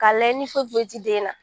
K'a lajɛ ni foyi foyi tɛ den na